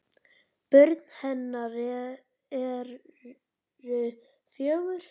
Börn hennar eru fjögur.